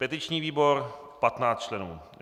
petiční výbor 15 členů